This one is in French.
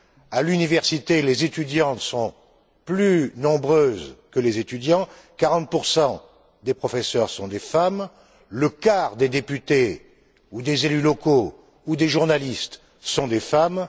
À l'université, les étudiantes sont plus nombreuses que les étudiants, 40 des professeurs sont des femmes, le quart des députés, ou des élus locaux, ou des journalistes, sont des femmes.